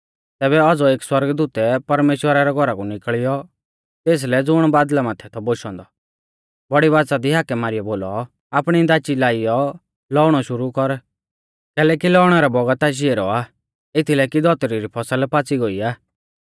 तैबै औज़ौ एक सौरगदूतै परमेश्‍वरा रै घौरा कु निकल़ियौ तेसलै ज़ुण बादल़ा माथै थौ बोशौ औन्दौ बौड़ी बाच़ा दी हाकै मारीयौ बोलौ आपणी दाची लाइयौ लौउणौ शुरु कर कैलैकि लौउणै रौ बौगत आशी ऐरौ आ एथीलै कि धौतरी री फसल पाच़ी गोई आ